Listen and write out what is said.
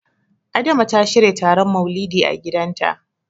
Adama ta shirya taron Maulidi a gidanta.